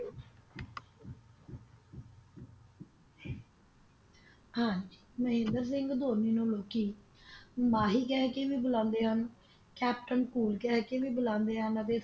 ਹਾਂਜੀ ਮਹਿੰਦਰ ਸਿੰਘ ਧੋਨੀ ਨੂੰ ਲੋਕੀ ਮਾਹੀ ਕਹਿ ਕੇ ਵੀ ਬੁਲਾਉਂਦੇ ਹਨ Captain Cool ਕਹਿ ਕੇ ਵੀ ਬੁਲਾਉਂਦੇ ਹਨ